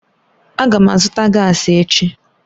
Aga m azụta gaasi echi